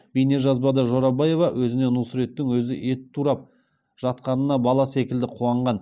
бейнежазбада жорабаева өзіне нұсреттің өзі ет турап жатқанына бала секілді қуанған